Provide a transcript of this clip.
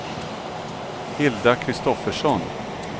Hilda Kristoffersson